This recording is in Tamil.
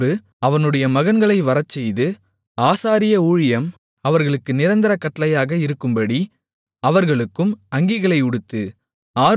பின்பு அவனுடைய மகன்களை வரச்செய்து ஆசாரிய ஊழியம் அவர்களுக்கு நிரந்தர கட்டளையாக இருக்கும்படி அவர்களுக்கும் அங்கிகளை உடுத்து